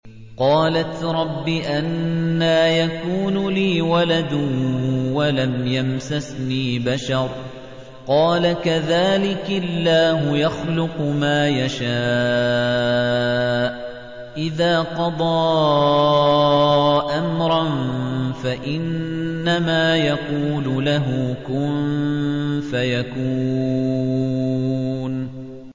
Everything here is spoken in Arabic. قَالَتْ رَبِّ أَنَّىٰ يَكُونُ لِي وَلَدٌ وَلَمْ يَمْسَسْنِي بَشَرٌ ۖ قَالَ كَذَٰلِكِ اللَّهُ يَخْلُقُ مَا يَشَاءُ ۚ إِذَا قَضَىٰ أَمْرًا فَإِنَّمَا يَقُولُ لَهُ كُن فَيَكُونُ